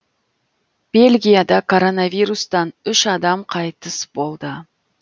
бельгияда коронавирустан үш адам қайтыс болды